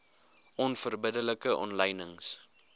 onverbidde like omlynings